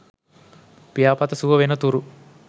පියාපත සුව වෙන තුරු